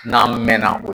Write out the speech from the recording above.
N'an mɛɛnna